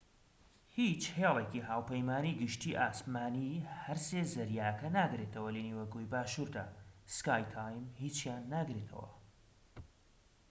هیچ هێلێکی هاوپەیمانی گەشتی ئاسمانی هەرسێ زەریاکە ناگرێتەوە لە نیوەگۆی باشووردا سکای تیم هیچیان ناگرێتەوە